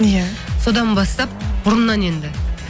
иә содан бастап бұрыннан енді